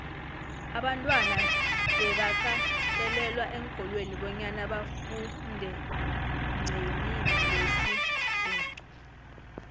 abantwana bebakatelelwa eenkolweni bonyana bafundenqelimilesibhuxu